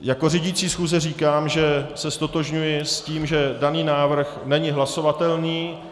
jako řídící schůze říkám, že se ztotožňuji s tím, že daný návrh není hlasovatelný.